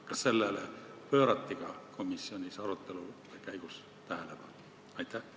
Kas sellele pöörati ka komisjonis arutelu käigus tähelepanu?